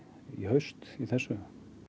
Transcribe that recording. haust í þessu